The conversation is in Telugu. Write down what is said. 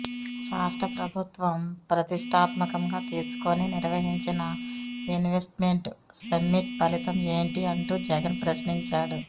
రాష్ట్ర ప్రభుత్వం ప్రతిష్టాత్మకంగా తీసుకుని నిర్వహించిన ఇన్వెస్ట్మెంట్ సమ్మిట్ ఫలితం ఏంటీ అంటూ జగన్ ప్రశ్నించాడు